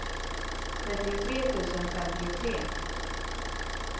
trettiotre tusen femtiotre